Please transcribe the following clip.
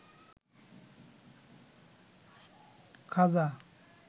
খাজা